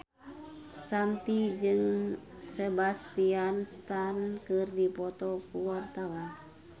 Shanti jeung Sebastian Stan keur dipoto ku wartawan